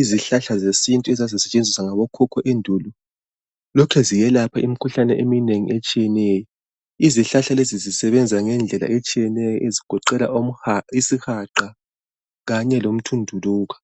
Izihlahla zesintu ezazisetshenziswa ngabokhokho endulo lokhu ziyelapha imikhuhlane eminengi etshiyeneyo. Izihlahla lezi zisebenza ngendlela etshiyeneyo ezigoqela isihaqa kanye lomthunduluka.